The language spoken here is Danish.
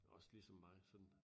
Også lige som mig sådan